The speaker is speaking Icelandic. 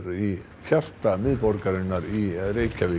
í hjarta miðborgarinnar í Reykjavík